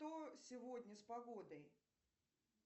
что сегодня с погодой